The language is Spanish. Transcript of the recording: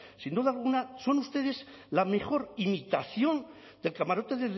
sin duda alguna son ustedes la mejor imitación del camarote